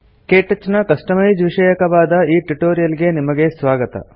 ಕೇಟಚ್ ನ ಕಸ್ಟಮೈಜ್ ವಿಷಯಕವಾದ ಈ ಟ್ಯುಟೋರಿಯಲ್ ಗೆ ನಿಮಗೆ ಸ್ವಾಗತ